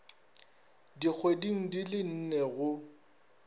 dikgweding di le nne go